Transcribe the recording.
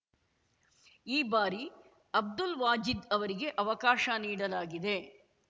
ಈ ಬಾರಿ ಅಬ್ದುಲ್‌ ವಾಜೀದ್‌ ಅವರಿಗೆ ಆವಕಾಶ ನೀಡಲಾಗಿದೆ